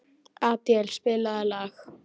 Adíel, spilaðu lag.